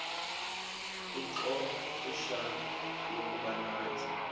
ixfsha lokuba nathi